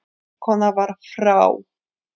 Konan var frá